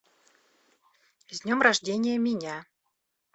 с днем рождения меня